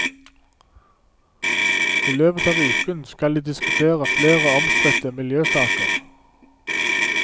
I løpet av uken skal de diskutere flere omstridte miljøsaker.